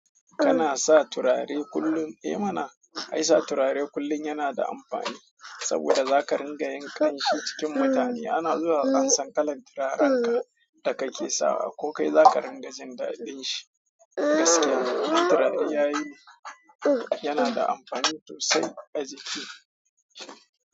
Kana sa turare kullum? Eh mana, ai sa turare kullum yana da amfani saboda za ka ringa ƙamshi cikin mutane. Ana zuwa ansan kalar turarenka da kake sawa ko kai zaka ringa jin daɗin shi. Gaskiya turare yayi yana da amfani sosai a jiki.